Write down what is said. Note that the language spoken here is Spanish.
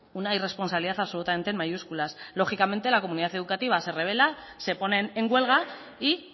una irresponsabilidad absolutamente en mayúsculas lógicamente la comunidad educativa se revela se ponen en huelga y